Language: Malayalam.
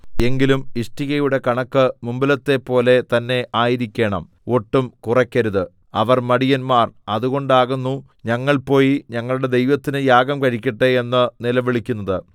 എങ്കിലും ഇഷ്ടികയുടെ കണക്ക് മുമ്പിലത്തെപ്പോലെ തന്നെ ആയിരിക്കണം ഒട്ടും കുറയ്ക്കരുത് അവർ മടിയന്മാർ അതുകൊണ്ടാകുന്നു ഞങ്ങൾ പോയി ഞങ്ങളുടെ ദൈവത്തിന് യാഗം കഴിക്കട്ടെ എന്ന് നിലവിളിക്കുന്നത്